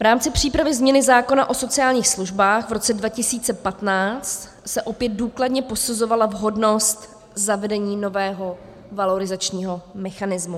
V rámci přípravy změny zákona o sociálních službách v roce 2015 se opět důkladně posuzovala vhodnost zavedení nového valorizačního mechanismu.